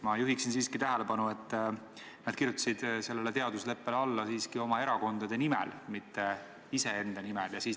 Ma juhin siiski tähelepanu, et nad kirjutasid sellele teadusleppele alla oma erakonna nimel, mitte iseenda nimel.